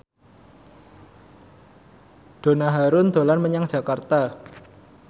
Donna Harun dolan menyang Jakarta